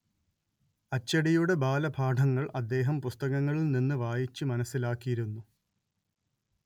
അച്ചടിയുടെ ബാലപാഠങ്ങൾ അദ്ദേഹം പുസ്തകങ്ങളിൽ നിന്ന് വായിച്ച്‌ മനസ്സിലാക്കിയിരുന്നു